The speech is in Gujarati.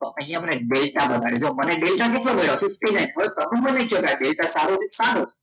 તો અહીંયા મને ડેલ્ટા બતાવે જો મને ડેલ્ટા કેટલો મળ્યો? fifty nine થેટા સારો છે